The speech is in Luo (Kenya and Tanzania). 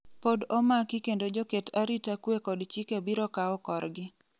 pod omaki kendo joket arita kwe kod chike biro kawo korgi